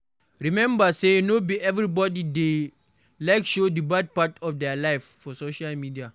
Remember sey no be everybody dey like show the bad part of their life for social media